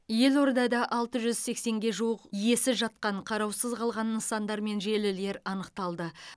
елордада алты жүз сексенге жуық иесіз жатқан қараусыз қалған нысандар мен желілер анықталды